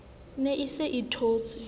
ne a se a thotse